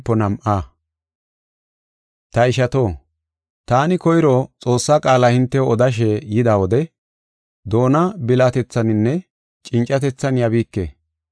Ta ishato, taani koyro Xoossa qaala hintew odashe yida wode, doona bilatethaninne cincatethan yabiike.